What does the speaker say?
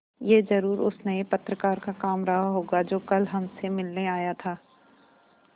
यह ज़रूर उस नये पत्रकार का काम रहा होगा जो कल हमसे मिलने आया था